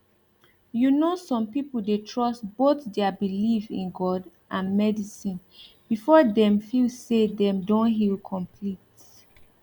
you know some people dey trust both their belief in god and medicine before dem feel say dem don heal complete